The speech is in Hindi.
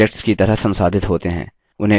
इन्हें फिर से इकट्ठा करें